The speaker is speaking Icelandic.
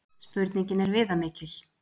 Spurningin er viðamikil.